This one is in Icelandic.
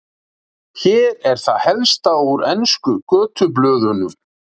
Hér er það helsta úr ensku götublöðunum.